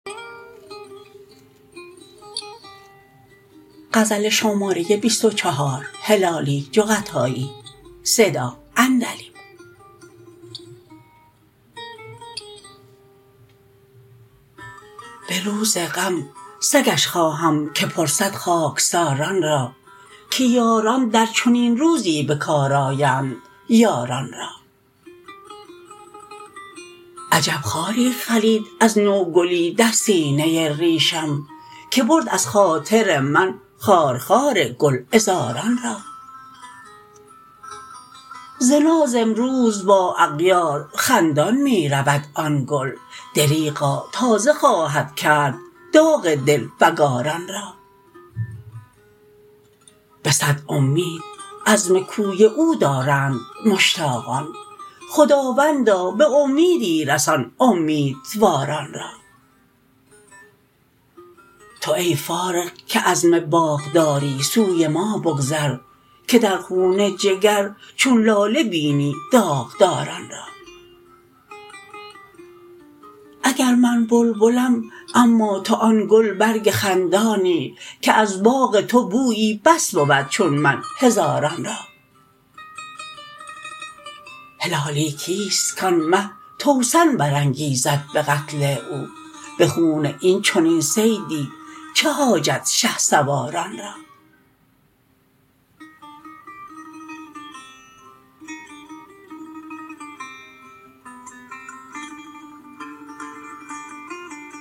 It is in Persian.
بروز غم سگش خواهم که پرسد خاکساران را که یاران در چنین روزی بکار آیند یاران را عجب خاری خلید از نو گلی در سینه ریشم که برد از خاطر من خار خار گل عذاران را ز ناز امروز با اغیار خندان میرود آن گل دریغا تازه خواهد کرد داغ دل فگاران را بصد امید عزم کوی او دارند مشتاقان خداوندا بامیدی رسان امیدواران را تو ای فارغ که عزم باغ داری سوی ما بگذر که در خون جگر چون لاله بینی داغداران را اگر من بلبلم اما تو آن گل برگ خندانی که از باغ تو بویی بس بود چون من هزاران را هلالی کیست کان مه توسن انگیزد بقتل او بخون این چنین صیدی چه حاجت شهسواران را